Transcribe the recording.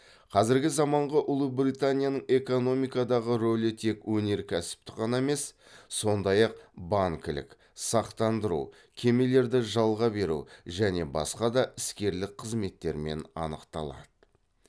қазіргі заманғы ұлыбританияның экономикадағы рөлі тек өнеркәсіптік қана емес сондай ақ банкілік сақтандыру кемелерді жалға беру және басқа да іскерлік қызметтермен анықталады